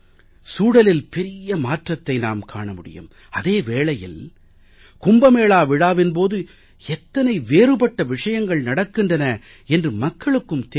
சூழலில் பெரிய மாற்றத்தை நாம் காண முடியும் அதே வேளையில் கும்ப மேளா விழாவின் போது எத்தனை வேறுபட்ட விஷயங்கள் நடக்கின்றன என்று மக்களுக்கும் தெரிய வரும்